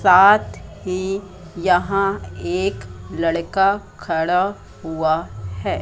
साथ ही यहां एक लड़का खड़ा हुआ हैं।